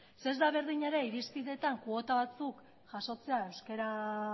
ez da berdina ere irizpideetan kuota batzuk jasotzea euskara